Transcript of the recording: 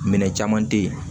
Minɛn caman te yen